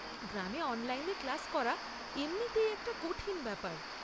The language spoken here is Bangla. গ্রামে অনলাইনে ক্লাস করা এমনিতেই একটা কঠিন ব্যাপার।